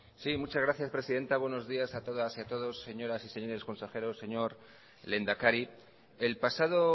muchas gracias señora presidenta buenos días a todas y a todos señoras y señores consejeros señor lehendakari el pasado